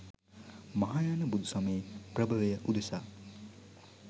මහායාන බුදුසමයේ ප්‍රභවය උදෙසා